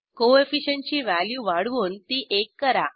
coefficient ची value वाढवून ती एक करा